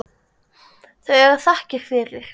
Þau eiga þakkir fyrir.